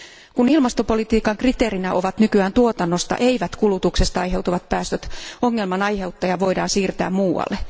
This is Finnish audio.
Kun ilmastopolitiikan kriteereinä ovat nykyään tuotannosta eivätkä kulutuksesta aiheutuvat päästöt, ongelman aiheuttaja voidaan siirtää muualle.